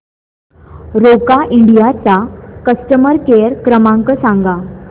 Roca India चा customer care क्रमांक सांगा